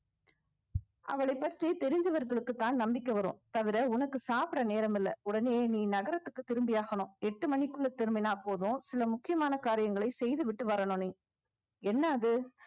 அவளைப் பற்றி தெரிந்தவர்களுக்குத்தான் நம்பிக்கை வரும் தவிர உனக்கு சாப்பிட நேரம் இல்லை உடனே நீ நகரத்துக்கு திரும்பியாகணும் எட்டு மணிக்குள்ள திரும்பினா போதும் சில முக்கியமான காரியங்களை செய்துவிட்டு வரணும் நீ என்ன அது